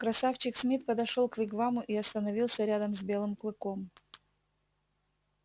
красавчик смит подошёл к вигваму и остановился рядом с белым клыком